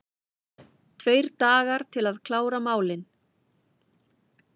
Tveir dagar til að klára málin